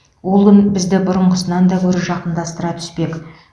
ол күн бізді бұрынғысынан да гөрі жақындастыра түспек